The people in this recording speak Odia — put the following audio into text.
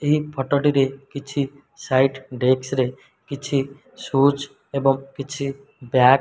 ଏହି ଫଟୋଟି ରେ କିଛି ସାଇଟ୍ ଡେକ୍ସ୍ ରେ କିଛି ସୁଚୁ ଏବଂ କିଛି ବ୍ୟାଗ୍ --